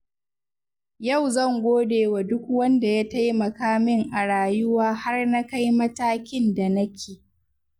Yau zan gode wa duk wanda ya taimaka min a rayuwa har na kai matakin da nake.